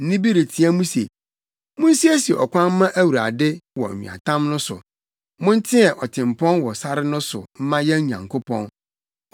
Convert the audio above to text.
Nne bi reteɛ mu se, “Munsiesie ɔkwan mma Awurade wɔ nweatam no so. Monteɛ ɔtempɔn wɔ sare no so mma yɛn Nyankopɔn.